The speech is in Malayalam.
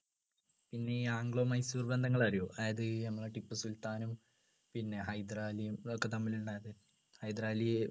പിന്നെ ഈ ആംഗ്ലോ മൈസൂർ ബന്ധങ്ങൾ അറിയുമോ അതായത് നമ്മളെ ടിപ്പുസുൽത്താനും പിന്നെ ഹൈദരാലിയും അതൊക്കെ തമ്മിലുണ്ടായത് ഹൈദരാലി